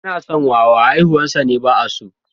Ana son wawa, haihuwarsa ne ba’a so.